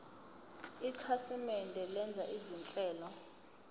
ikhasimende lenza izinhlelo